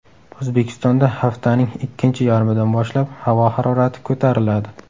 O‘zbekistonda haftaning ikkinchi yarmidan boshlab havo harorati ko‘tariladi.